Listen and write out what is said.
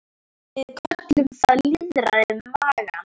Við köllum það lýðræði magans.